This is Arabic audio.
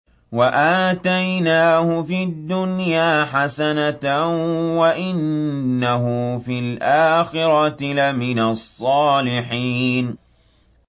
وَآتَيْنَاهُ فِي الدُّنْيَا حَسَنَةً ۖ وَإِنَّهُ فِي الْآخِرَةِ لَمِنَ الصَّالِحِينَ